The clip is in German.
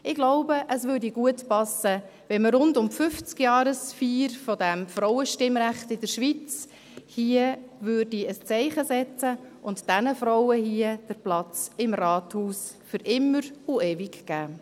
» Ich glaube, es würde gut passen, wenn man hier rund um die 50-Jahre-Feier des Frauenstimmrechts in der Schweiz ein Zeichen setzen und diesen Frauen hier den Platz im Rathaus für immer und ewig geben würde.